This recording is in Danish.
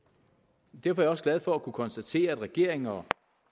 derfor er jeg også glad for at kunne konstatere at regeringen og